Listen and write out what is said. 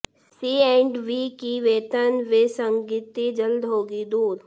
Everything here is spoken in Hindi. सी एंड वी की वेतन विसंगति जल्द होगी दूर